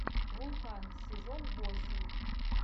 вулкан сезон восемь